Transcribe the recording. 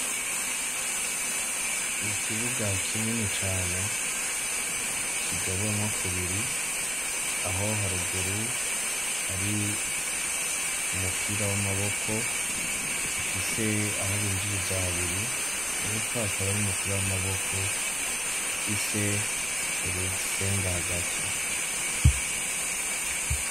Ikibuga kinini cane kigabuyemwo kubiri aho ha ruguru hari umupira w'amaboko ufise aho b'injiriza habiri hepfo hakaba Hari umupira w'amaboko ufise urusenga hagati.